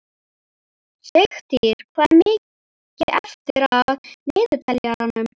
Sigtýr, hvað er mikið eftir af niðurteljaranum?